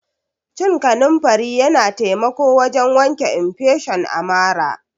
Cin kanunfari Yana taimako wajen wanke infesion a marà.